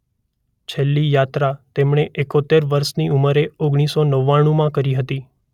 છેલ્લી યાત્રા તેમણે એકોતેર વર્ષની ઉંમરે ઓગણીસ સો નવ્વાણુમાં કરી હતી.